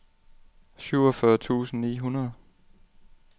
syvogfyrre tusind ni hundrede